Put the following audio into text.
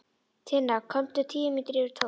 Tinna kom tíu mínútur yfir tólf.